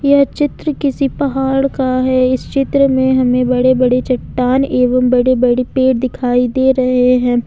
यह चित्र किसी पहाड़ का है इस चित्र में हमें बड़े बड़े चट्टान एवं बड़े बड़े पेड़ दिखाई दे रहे हैं।